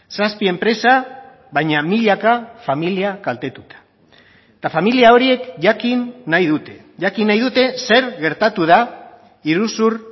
zazpi enpresa baina milaka familia kaltetuta eta familia horiek jakin nahi dute jakin nahi dute zer gertatu da iruzur